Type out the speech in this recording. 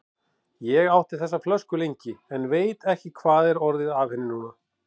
Ég átti þessa flösku lengi, en veit ekki hvað er orðið af henni núna.